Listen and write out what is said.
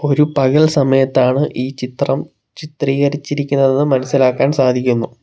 ഒരു പകൽ സമയത്താണ് ഈ ചിത്രം ചിത്രീകരിച്ചിരിക്കുന്നത് മനസ്സിലാക്കാൻ സാധിക്കുന്നു.